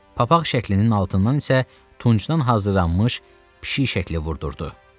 Papaq şəklinin altından isə tuncdan hazırlanmış pişik şəkli vurdurdu.